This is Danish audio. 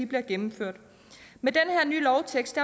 bliver gennemført med den her nye lovtekst